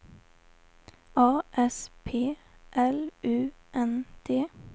A S P L U N D